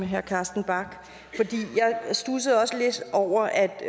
herre carsten bach jeg studsede også lidt over at